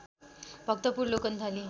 Bhaktapur Lokanthali